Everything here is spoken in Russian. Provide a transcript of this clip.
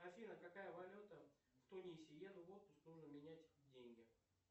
афина какая валюта в тунисе еду в отпуск нужно менять деньги